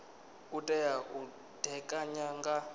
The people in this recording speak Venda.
u tea u ṋekana nga